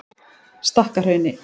Stakkahrauni